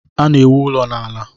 Ana-ewu ụlọ n'ala.